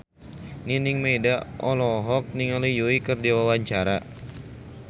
Nining Meida olohok ningali Yui keur diwawancara